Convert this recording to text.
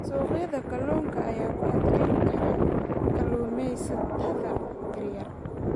Suuqyada kalluunka ayaa ku adkaan kara kalluumaysatada yaryar.